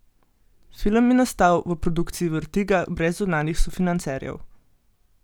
Film je nastal v produkciji Vertiga brez zunanjih sofinancerjev.